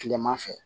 Kilema fɛ